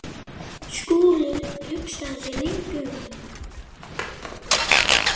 Skúli hugsaði sig lengi um.